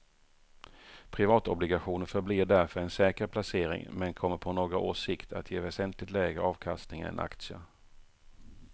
Privatobligationer förblir därför en säker placering men kommer på några års sikt att ge väsentligt lägre avkastning än aktier.